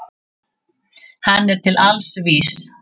Hann er til alls vís.